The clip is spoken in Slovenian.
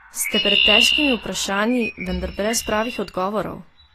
Ste pred težkimi vprašanji, vendar brez pravih odgovorov?